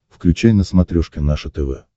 включай на смотрешке наше тв